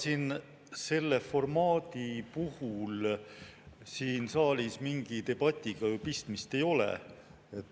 Ega selle formaadi puhul siin saalis mingi debatiga pistmist ei ole.